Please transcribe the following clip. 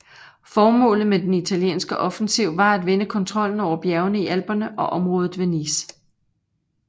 Formålet med den italienske offensiv var at vinde kontrollen over bjergene i Alperne og området ved Nice